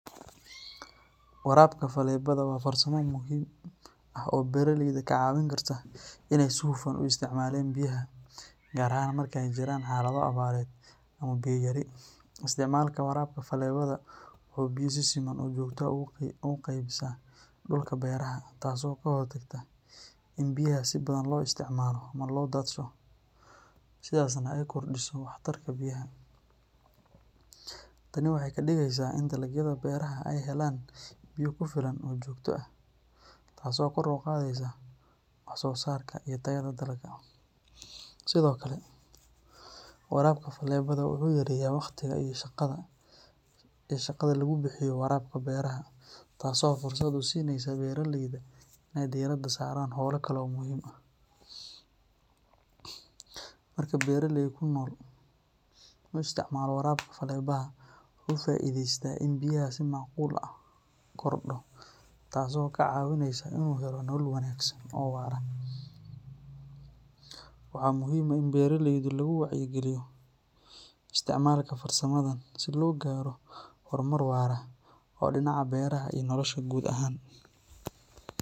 Warabka falebada waa farsamo muhiim ah oo beraleyda ka caawin karta inay si hufan u isticmaalaan biyaha, gaar ahaan marka ay jiraan xaalado abaareed ama biyo yari. Isticmaalka warabka falebada wuxuu biyo si siman oo joogto ah ugu qeybisaa dhulka beeraha, taasoo ka hortagta in biyaha si badan loo isticmaalo ama loo daadsho, sidaasna ay kordhiso waxtarka biyaha. Tani waxay ka dhigaysaa in dalagyada beeraha ay helaan biyo ku filan oo joogto ah, taasoo kor u qaadaysa wax soo saarka iyo tayada dalagga. Sidoo kale, warabka falebada wuxuu yareeyaa waqtiga iyo shaqada lagu bixiyo waraabka beeraha, taasoo fursad u siinaysa beraleyda inay diiradda saaraan hawlo kale oo muhiim ah. Marka beraley kunol uu isticmaalo warabka falebada, wuxuu ka faa’iideystaa in biyaha si macquul ah loo maamulo, deegaanka la ilaaliyo, iyo in wax soo saarka beeraha uu kordho, taasoo ka caawinaysa inuu helo nolol wanaagsan oo waara. Waxaa muhiim ah in beraleyda lagu wacyigeliyo isticmaalka farsamadan si loo gaaro horumar waara oo dhinaca beeraha iyo nolosha guud ahaan.